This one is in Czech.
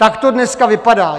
Tak to dneska vypadá.